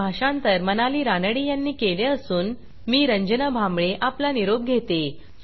हे भाषांतर मनाली रानडे यांनी केले असून मी रंजना भांबळे आपला निरोप घेते